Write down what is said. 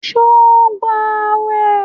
Sọ ń gbàwẹ̀?